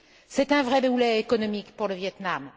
C'est un vrai boulet économique pour le Viêt Nam.